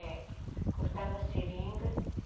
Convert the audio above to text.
É. Cortava a seringa.